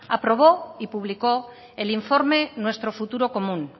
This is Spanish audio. aprobó y publicó el informe nuestro futuro común